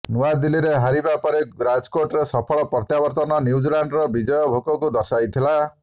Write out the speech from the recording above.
ନୁଆଦିଲ୍ଲୀରେ ହାରିବା ପରେ ରାଜକୋଟରେ ସଫଳ ପ୍ରତ୍ୟାବର୍ତନ ନ୍ୟୁଜିଲାଣ୍ଡର ବିଜୟ ଭୋକକୁ ଦର୍ଶାଇଥିଲା